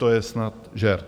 To je snad žert.